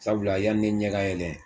Sabula yanni ne ɲɛ ka yɛlɛ,